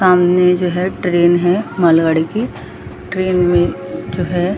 सामने जो है ट्रेन है मालगाड़ी की ट्रेन में जो है --